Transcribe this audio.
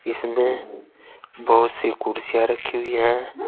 इसमें बहोत सी कुर्सियां रखी हुई है।